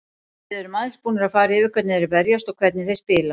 Við erum aðeins búnir að fara yfir hvernig þeir verjast og hvernig þeir spila.